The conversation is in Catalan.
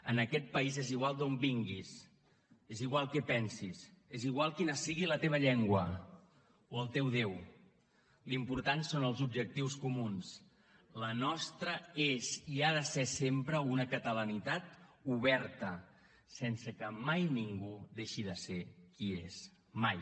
en aquest país és igual d’on vinguis és igual què pensis és igual quina sigui la teva llengua o el teu déu l’important són els objectius comuns la nostra és i ha de ser sempre una catalanitat oberta sense que mai ningú deixi de ser qui és mai